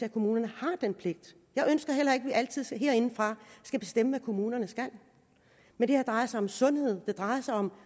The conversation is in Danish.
at kommunerne har den pligt jeg ønsker heller ikke at vi altid herindefra skal bestemme hvad kommunerne skal men det her drejer sig om sundhed det drejer sig om